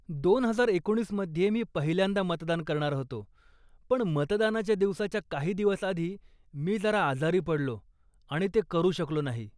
दोन हजार एकोणीस मध्ये मी पहिल्यांदा मतदान करणार होतो, पण मतदानाच्या दिवसाच्या काही दिवस आधी मी जरा आजारी पडलो आणि ते करू शकलो नाही.